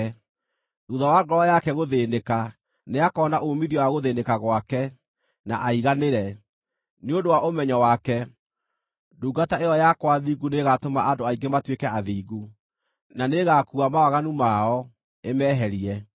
Thuutha wa ngoro yake gũthĩĩnĩka, nĩakoona uumithio wa gũthĩĩnĩka gwake, na aiganĩre; nĩ ũndũ wa ũmenyo wake, ndungata ĩyo yakwa thingu nĩĩgatũma andũ aingĩ matuĩke athingu, na nĩĩgakuua mawaganu mao, ĩmeherie.